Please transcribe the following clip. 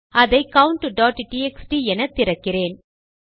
அதை countடிஎக்ஸ்டி என திறக்கிறேன்